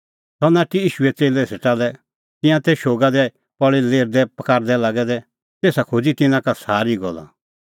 सह नाठी ईशूए च़ेल्लै सेटा लै तिंयां तै शोगा दी पल़ी लेरदैपकारदै लागै दै तेसा खोज़ी तिन्नां का सारी गल्ला